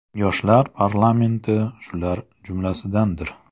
Yoshlar parlamenti shular jumlasidandir.